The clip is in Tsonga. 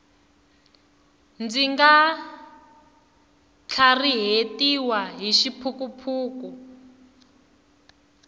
ndzi nga tlharihetiwi hi xiphukuphuku